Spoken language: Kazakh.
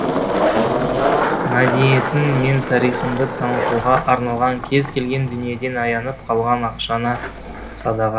мәдениетің мен тарихыңды танытуға арналған кез келген дүниеден аянып қалған ақшаңа садаға